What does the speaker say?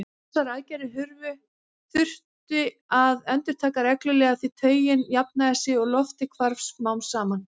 Þessar aðgerðir þurfti að endurtaka reglulega því taugin jafnaði sig og loftið hvarf smám saman.